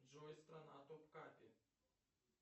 джой страна топ капи